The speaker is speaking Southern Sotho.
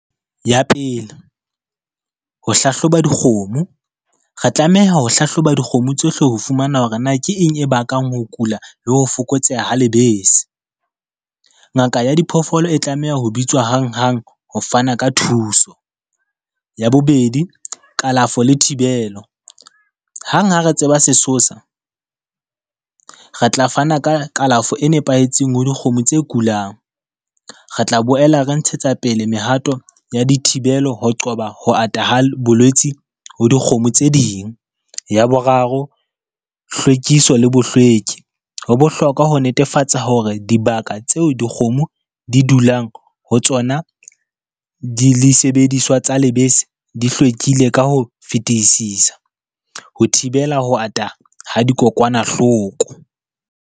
Ya pele, ho hlahloba dikgomo. Re tlameha ho hlahloba dikgomo tsohle ho fumana hore na ke eng e bakang ho kula le ho fokotseha ha lebese. Ngaka ya diphoofolo e tlameha ho bitswa hanghang ho fana ka thuso. Ya bobedi, kalafo le thibelo, hang ha re tseba sesosa, re tla fana ka kalafo e nepahetseng ho dikgomo tse kulang. Re tla boela re ntshetsa pele mehato ya dithibelo ho qoba ho ata ha bolwetsi ho dikgomo tse ding. Ya boraro, hlwekiso le bohlweki. Ho bohlokwa ho netefatsa hore dibaka tseo dikgomo di dulang ho tsona di le sebediswa tsa lebese di hlwekile ka ho fetisisa, ho thibela ho ata ha dikokwanahloko.